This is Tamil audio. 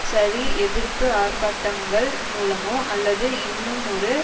சரி எதிர்ப்பு ஆர்ப்பாட்டங்கள் மூலமோ அல்லது இன்னுமொரு